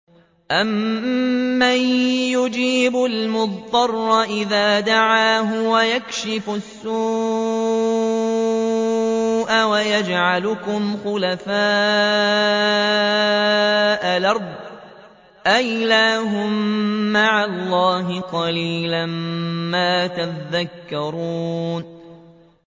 أَمَّن يُجِيبُ الْمُضْطَرَّ إِذَا دَعَاهُ وَيَكْشِفُ السُّوءَ وَيَجْعَلُكُمْ خُلَفَاءَ الْأَرْضِ ۗ أَإِلَٰهٌ مَّعَ اللَّهِ ۚ قَلِيلًا مَّا تَذَكَّرُونَ